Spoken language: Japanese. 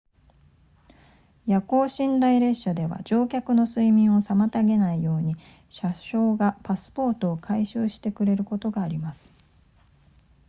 夜行寝台列車では乗客の睡眠を妨げないように車掌がパスポートを回収してくれることがあります